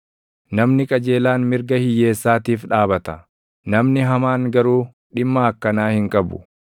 Namni qajeelaan mirga hiyyeessaatiif dhaabata; namni hamaan garuu dhimma akkanaa hin qabu.